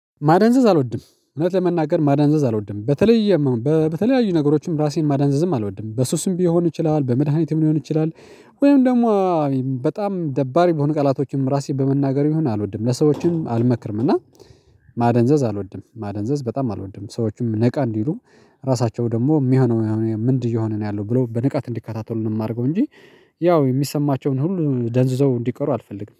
ማዳንዘዝ አልወድም እውነት ለመናገር ማዳንዘዝ አልወድም በተለይ በተለያዩ ነገሮችም ራሴን ማዳንዘዝም አልወድም በሱስም ሊሆን ይችላል በመድኃኒትም ሊሆን ይችላል። ወይም ደግሞ በጣም ደባሪ በሆኑ ቀላቶችም ራሴ በመናገር ይሁን አልወድም። ለሰዎችም አልመክርም እና ማደንዘዝ አልወድም። ማደንዘዝ በጣም አልወድም ሰዎችም ነቃ እንዲሉ ራሳቸው ደግሞ የሚሆነው ምንድነው? የሆነ ያለው ብሎ በንቃት እንዲከታተሉ ነው የማደርገው። እንጂ ያው የሚሰማቸውን ሁሉ ደንዝዘው እንዲቀሩ አልፈልግም